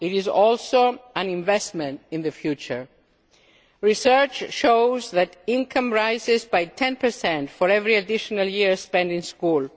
it is also an investment in the future. Research shows that income rises by 10 for every additional year spent in school.